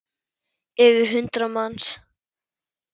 Yfir hundrað manns?